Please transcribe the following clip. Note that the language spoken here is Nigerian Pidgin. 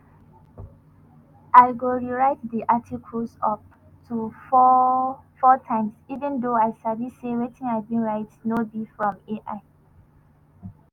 i go rewrite di articles up to four times even though i sabi say wetin i bin write no be from ai